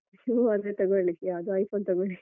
ನೀವು ಅದೇ ತೊಗೊಳ್ಳಿ ಯಾವ್ದು iPhone ತೊಗೊಳಿ.